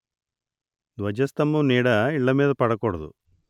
ధ్వజస్థంభం నీడ ఇళ్ళమీద పడకూడదు